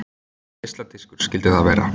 Geisladiskur skyldi það vera.